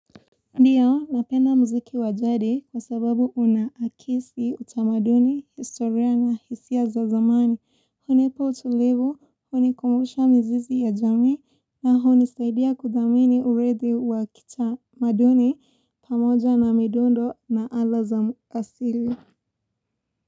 Ndio, napenda muziki wa jadi kwa sababu unaakisi utamaduni, historia na hisia za zamani, hunipa utulivu, hunikumbusha mizizi ya jamii, na hunisaidia kuthamini uridhi wa kitamaduni pamoja na midundo na ala za muasili.